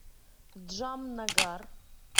джамнагар